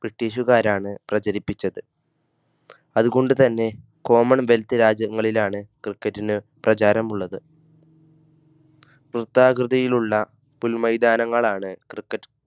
ബ്രിട്ടീഷുകാരാണ് പ്രചരിപ്പിച്ചത്. അതുകൊണ്ടുതന്നെ common wealth രാജ്യങ്ങളിലാണ് cricket ന് പ്രചാരമുള്ളത്. വൃത്താകൃതിയിലുള്ള പുൽ മൈതാനങ്ങൾ ആണ് cricket